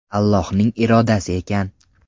Allohning irodasi ekan.